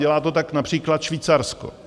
Dělá to tak například Švýcarsko.